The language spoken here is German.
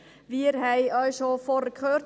Wir haben auch vorhin schon gehört: